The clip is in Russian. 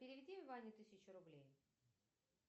переведи ване тысячу рублей